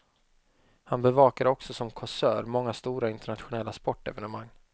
Han bevakade också som kåsör många stora internationella sportevenemang.